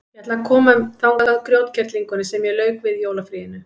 Ég ætla að koma þangað grjótkerlingunni sem ég lauk við í jólafríinu.